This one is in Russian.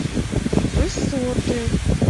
высоты